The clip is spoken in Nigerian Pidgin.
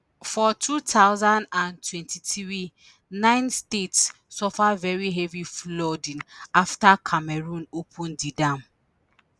for 2023 nine states suffer very heavy flooding afta cameroon open di dam.